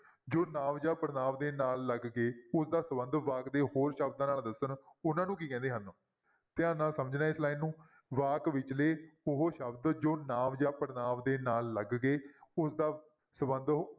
ਜੋ ਨਾਂਵ ਜਾਂ ਪੜਨਾਂਵ ਦੇ ਨਾਲ ਲੱਗ ਕੇ ਉਸਦਾ ਸੰਬੰਧ ਵਾਕ ਦੇ ਹੋਰ ਸ਼ਬਦਾਂ ਨਾਲ ਦੱਸਣ, ਉਹਨਾਂ ਨੂੰ ਕੀ ਕਹਿੰਦੇ ਹਨ? ਧਿਆਨ ਨਾਲ ਸਮਝਣਾ ਹੈ ਇਸ line ਨੂੰ ਵਾਕ ਵਿਚਲੇ ਉਹ ਸ਼ਬਦ ਜੋ ਨਾਂਵ ਜਾਂ ਪੜਨਾਂਵ ਦੇ ਨਾਲ ਲੱਗ ਕੇ ਉਸਦਾ ਸੰਬੰਧ